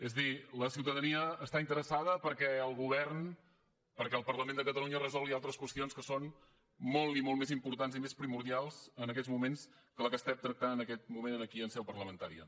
és a dir la ciutadania està interessada perquè el govern perquè el parlament de catalunya resolgui altres qüestions que són molt i molt més importants i més primordials en aquests moments que la que estem tractant en aquest moment aquí en seu parlamentària